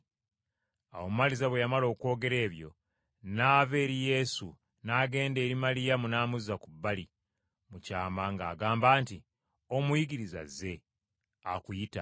Awo Maliza bwe yamala okwogera ebyo, n’ava eri Yesu n’agenda eri Maliyamu n’amuzza ku bbali mu kyama ng’agamba nti, “Omuyigiriza azze, akuyita.”